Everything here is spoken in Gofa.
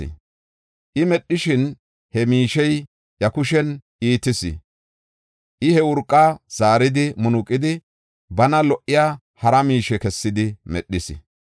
I medhishin, he miishey iya kushen iitis. I he urqa zaaridi munuqidi, bana lo77iya hara miishe kessidi medhis.